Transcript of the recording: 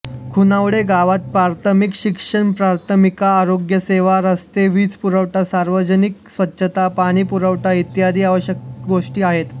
खुणावडे गावात प्राथमिक शिक्षणप्राथमिक आरोग्यसेवा रस्ते वीजपुरवठा सार्वजनिक स्वच्छता पाणी पुरवठा इत्यादी आवश्यक गोष्टी आहेत